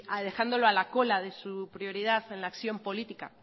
alejándolo a la cola de su prioridad de la acción política